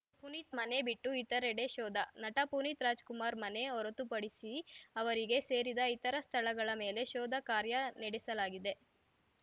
ಪುನೀತ್‌ ಮನೆ ಬಿಟ್ಟು ಇತರೆಡೆ ಶೋಧ ನಟ ಪುನೀತ್‌ ರಾಜ್‌ಕುಮಾರ್‌ ಮನೆ ಹೊರತುಪಡಿಸಿ ಅವರಿಗೆ ಸೇರಿದ ಇತರ ಸ್ಥಳಗಳ ಮೇಲೆ ಶೋಧ ಕಾರ್ಯ ನಡೆಸಲಾಗಿದೆ